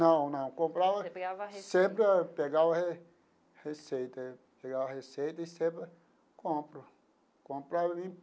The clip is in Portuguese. Não, não, comprava. Você pegava. Sempre, pegava re receita, pegava a receita e sempre compro compro ali.